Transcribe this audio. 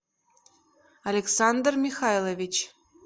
александр михайлович